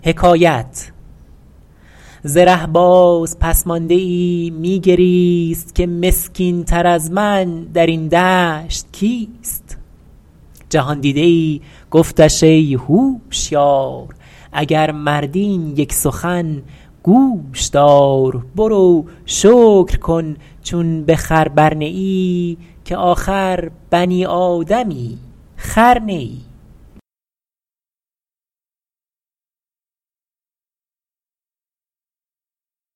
ز ره باز پس مانده ای می گریست که مسکین تر از من در این دشت کیست جهاندیده ای گفتش ای هوشیار اگر مردی این یک سخن گوش دار برو شکر کن چون به خر بر نه ای که آخر بنی آدمی خر نه ای